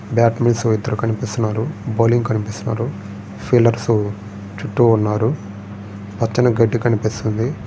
బ్యాటమెన్స్ ఇద్దరు కనిపిస్తున్నారు. బౌలర్లు కనిపిస్తున్నారు. ఫీల్డర్లు చుట్టూ ఉన్నారు. పచ్చని గడ్డి కనిపిస్తుంది.